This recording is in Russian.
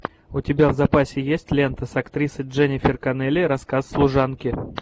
у тебя в запасе есть лента с актрисой дженнифер коннелли рассказ служанки